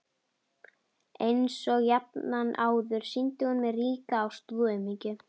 Einsog jafnan áður sýndi hún mér ríka ástúð og umhyggju.